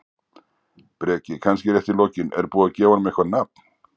Breki: Kannski rétt í lokin, er búið að gefa honum eitthvað nafn?